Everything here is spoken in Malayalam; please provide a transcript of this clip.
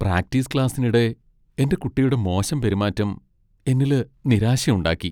പ്രാക്ടീസ് ക്ലാസ്സിനിടെ എന്റെ കുട്ടിയുടെ മോശം പെരുമാറ്റം എന്നില് നിരാശ ഉണ്ടാക്കി.